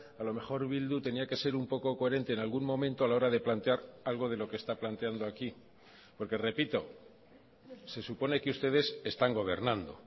a lo mejor bildu tenía que ser un poco coherente en algún momento a la hora de plantear algo de lo que está planteando aquí porque repito se supone que ustedes están gobernando